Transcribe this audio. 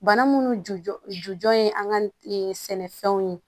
Bana munnu ju jɔ jɔn ye an ka sɛnɛfɛnw ye